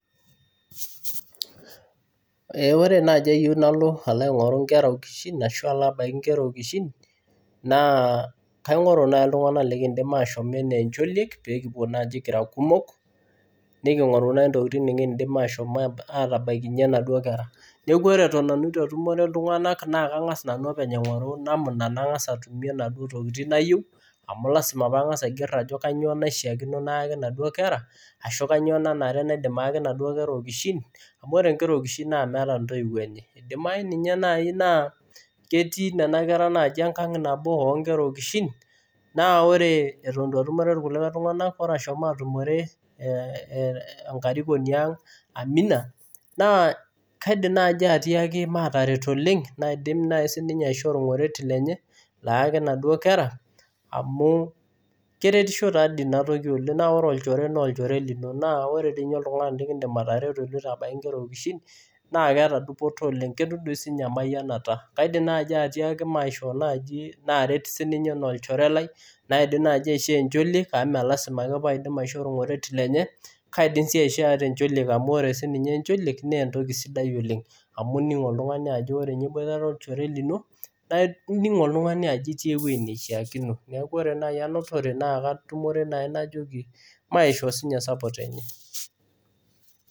Ore naaji ayieu nalo aing'oru inkera okishin ashu alo abaiki inkera okishin, naa kaing'oru naai iltung'anak nekiindim ashom enaa encholiek peekipwo naaji kira kumok neking'oru naaji intokitin nekiindim ashom atabaikinye inaduo kera. Neeku ore nanu eton etu atumore orkulikae tung'anak naa kang'as nanu openy aing'oru namna nang'as atumie inaduo tokiting nayieu amu lazima paang'as aigerr ajo kanyoo naishiakino nayaki inaduo kera ashu kanyoo nanare naaidim ayaki inaduo kera okishin amu ore inkera okishin naa meeta intoiwuo enye. Idimayu ninye naai naa ketii nena kera naaji enkang nabo oo nkera okishin naa ore eton etu atumore irkulikae tung'anak, ore ashomo atumore enkarikoni ang Amia, naa kaidim naai atiaki maataret oleng naidim naai siininye aishoo orng'oret lenye layaki inaduo kera amu keretisho tadii inatoki oleng naa ore olchore naa olchore lino naa. Naa ore dii ninye oltung'ani lekiindim atareto iloito abaiki inkera okishin naa keeta dupoto oleng. Ketum doi siininye emayianata. Kaidim naai atiaki maishoo naaji naaret siininye enaa olchore lai naindim naai aishoo encholiek amu mee lazima ake paaidim aishoo orng'oret lenye, kaidim sii aishoo ata encholiek amu ore siininye encholiek naa entoki sidai oleng amu ining oltung'ani ajo ore ninye iboitare olchore lino nining oltung'ani ajo itii ewuei nishiakino. Neeku ore naai anotore naakatumore naa najoki maishoo siininye support enye.